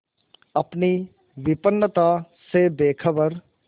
अपनी विपन्नता से बेखबर